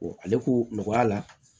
ale ko nɔgɔya la